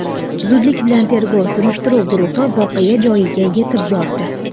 Zudlik bilan tergov-surishtiruv guruhi voqea joyiga yetib bordi.